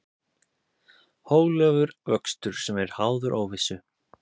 Hóflegur vöxtur sem er háður óvissu